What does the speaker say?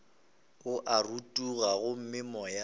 o a rotoga gomme moya